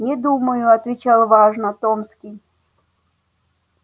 не думаю отвечал важно томский